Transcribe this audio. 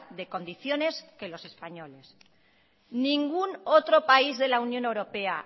de condiciones que los españoles ningún otro país de la unión europea